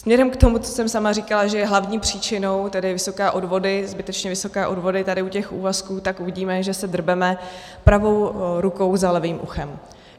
Směrem k tomu, co jsem sama říkala, že je hlavní příčinou, tedy vysoké odvody, zbytečně vysoké odvody tady u těch úvazků, tak uvidíme, že se drbeme pravou rukou za levým uchem.